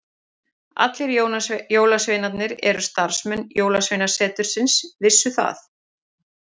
Allir jólasveinarnir og starfsmenn jólasveinasetursins vissu það.